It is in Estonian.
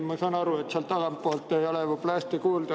Ma saan aru, et seal tagapool ei ole võib-olla hästi kuulda.